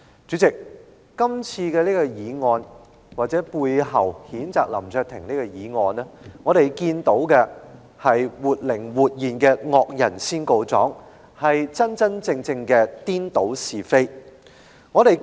主席，我們看到，譴責林卓廷議員的議案所反映出的是活靈活現的"惡人先告狀"，真真正正的顛倒是非。